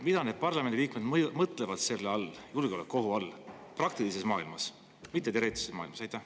Mida need parlamendi liikmed mõtlevad selle julgeolekuohu all – just praktilises maailmas, mitte teoreetilises maailmas?